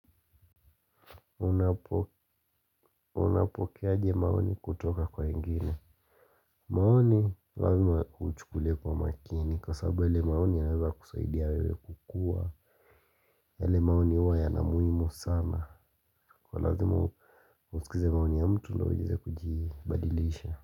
Unapokea aje maoni kutoka kwa wengine maoni huwa naichukulia kwa umakini kwa sababu yale maoni yanaweza kukusaidia wewe kukua yale maoni huwa yana muhimu sana kwa lazima usikilize maoni ya mtu ndo uweze kujibadilisha.